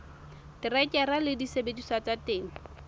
terekere le disebediswa tsa temo